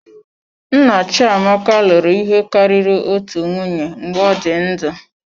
Nna Chiamaka lụrụ ihe karịrị otu nwunye mgbe ọ dị ndụ.